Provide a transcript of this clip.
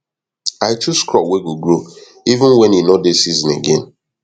i chose crop wey go grow even wen e nor dey season again